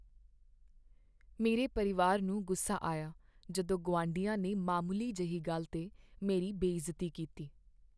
ਮੇਰੇ ਪਰਿਵਾਰ ਨੂੰ ਗੁੱਸਾ ਆਇਆ ਜਦੋਂ ਗੁਆਂਢੀਆਂ ਨੇ ਮਾਮੂਲੀ ਜਿਹੀ ਗੱਲ 'ਤੇ ਮੇਰੀ ਬੇਇੱਜ਼ਤੀ ਕੀਤੀ।